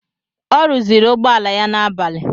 Ọ rụzịrị ụgbọala ya n'abali.